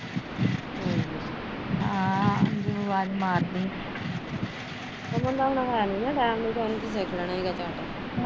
ਉਹਨਾਂ ਦਾ ਹੁਣ ਹੈਨੀ ਨਾ ਟੈਮ ਨਹੀਂ ਤਾਂ ਉਹਨੇ ਵੀ ਸਿੱਖ ਲੈਣਾ ਸੀਗਾ